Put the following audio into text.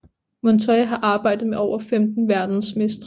Montoya har arbejdet med over 15 verdensmestre